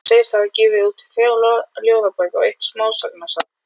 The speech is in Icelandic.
Hann sagðist hafa gefið út þrjár ljóðabækur og eitt smásagnasafn.